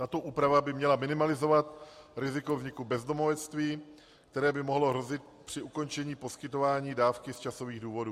Tato úprava by měla minimalizovat riziko vzniku bezdomovectví, které by mohlo hrozit při ukončení poskytování dávky z časových důvodů.